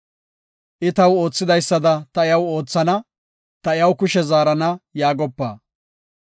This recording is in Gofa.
“I taw oothidaysada ta iyaw oothana; ta iyaw kushe zaarana” yaagopa.